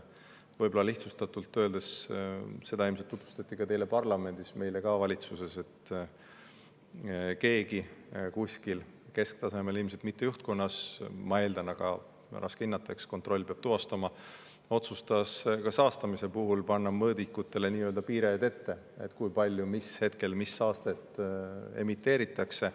Võib-olla lihtsustatult öeldes, seda tutvustati ilmselt teile ka parlamendis, nagu meile valitsuses, et keegi kuskil kesktasemel – ilmselt mitte juhtkonnas, ma eeldan, aga raske hinnata, eks kontroll peab tuvastama – otsustas saastamise puhul panna mõõdikutele piirid ette, kui palju mis hetkel mis saastet emiteeritakse.